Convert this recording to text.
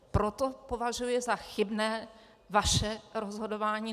Proto považuji za chybné vaše rozhodování.